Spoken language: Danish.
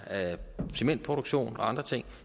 om cementproduktion og andre ting